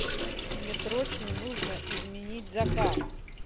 мне срочно нужно изменить заказ